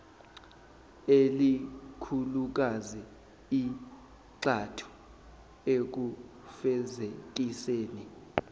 elikhulukazi igxathu ekufezekiseni